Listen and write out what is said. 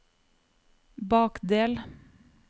bakdel